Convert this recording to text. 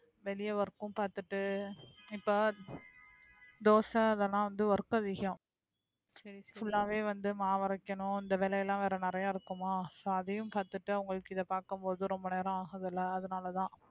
வெளிய work கும் பார்த்துட்டு இப்ப தோசை அதெல்லாம் வந்து work அதிகம் full ஆவே வந்து மாவு அரைக்கணும் இந்த வேலையெல்லாம் வேற நிறைய இருக்குமா so அதையும் கத்துட்டு அவங்களுக்கு இதை பார்க்கும் போது ரொம்ப நேரம் ஆகுது இல்லை அதனாலதான்